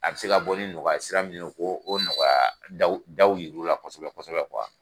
A be se ka bɔ ni nɔgɔya sira mun ye ko o nɔgɔya daw daw yiru la kɔsɛbɛ kɔsɛbɛ